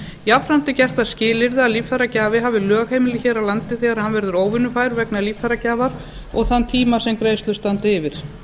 jafnframt er gert það skilyrði að líffæragjafi hafi lögheimili hér á landi þegar hann verður óvinnufær vegna líffæragjafar og þann tíma sem greiðslur standa yfir